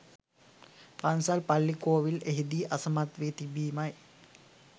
පන්සල් පල්ලි කෝවිල් එහිදී අසමත් වී තිබීමයි.